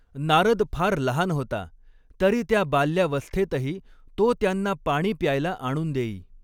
नारद फार लहान होता, तरी त्या बाल्यावस्थेतही तो त्यांना पाणी प्यायला आणून देई.